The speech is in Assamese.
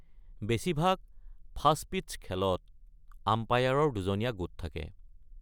বেছিভাগ ফাষ্টপিটছ খেলত আম্পায়াৰৰ দুজনীয়া গোট থাকে।